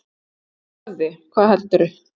Úti í garði, hvað heldurðu!